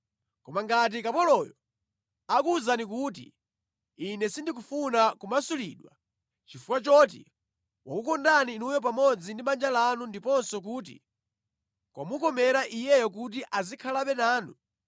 Koma ngati kapoloyo akuwuzani kuti, “Ine sindikufuna kumasulidwa,” chifukwa choti wakukondani inuyo pamodzi ndi banja lanu ndiponso kuti kwamukomera iyeyo kuti azikhalabe nanu,